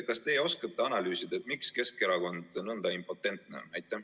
Kas teie oskate analüüsida, miks Keskerakond on nõnda impotentne?